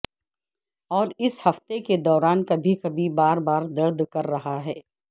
اور اس ہفتے کے دوران کبھی کبھی بار بار درد کر رہا ہے